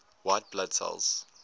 white blood cells